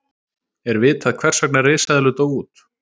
er vitað hvers vegna risaeðlur dóu út